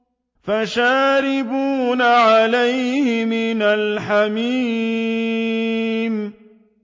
فَشَارِبُونَ عَلَيْهِ مِنَ الْحَمِيمِ